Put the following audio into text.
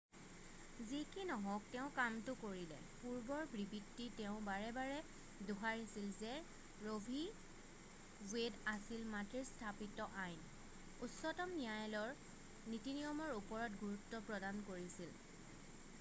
"যি কি নহওক তেওঁ কামটো কৰিলে পূৰ্বৰ বিবৃতি তেওঁ বাৰে বাৰে দোহাৰিছিল যে ৰ' ভি. ৱেড আছিল "মাটিৰ স্থাপিত আইন" উচ্চতম ন্যায়ালয়ৰ নীতি-নিয়মৰ ওপৰত গুৰুত্ব প্ৰদান কৰিছিল।""